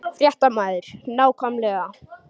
Fréttamaður: Nákvæmlega?